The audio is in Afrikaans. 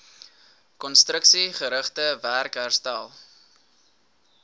konstruksiegerigte werk herstel